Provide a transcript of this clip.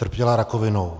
Trpěla rakovinou.